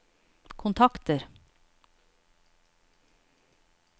kontakter